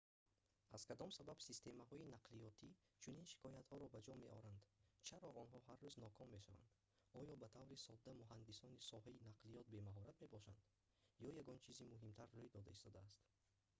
аз кадом сабаб системаҳои нақлиётӣ чунин шикоятҳоро ба ҷо меоранд чаро онҳо ҳар рӯз ноком мешаванд оё ба таври сода муҳандисони соҳаи нақлиёт бемаҳорат мебошанд ё ягон чизи муҳимтар рӯй дода истодааст